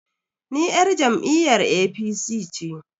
Ni yar jam'iyyar APC ce.